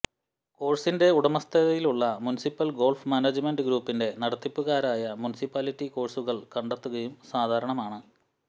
കോഴ്സിന്റെ ഉടമസ്ഥതയിലുള്ള municipal golf management ഗ്രൂപ്പിന്റെ നടത്തിപ്പുകാരായ മുനിസിപ്പാലിറ്റി കോഴ്സുകൾ കണ്ടെത്തുകയും സാധാരണമാണ്